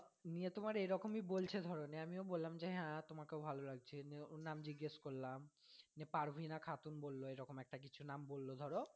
নিয়ে তোমার এরকমই বলছে ধর নিয়ে আমিও বললাম যে হ্যাঁ তোমাকেও ভালো লাগছে নিয়ে ওর নাম জিজ্ঞেস করলাম, দিয়ে পারভিনা খাতুন বললো এরকম কিছু একটা নাম বললো ধরো।